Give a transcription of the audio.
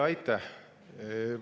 Aitäh!